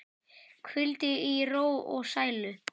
Hvíldu í ró og sælu.